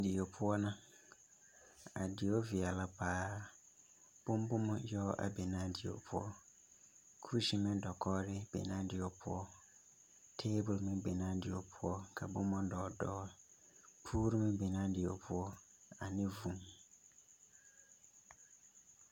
Die poɔ na a die veɛɛlɛ paa bonboma yɔg a be naa die poɔ kuseme dakɔgre be naa die poɔ tabol meŋ be naa die poɔ ka bomma dɔɔle dɔɔle kogre meŋ be naa die poɔ ane fon.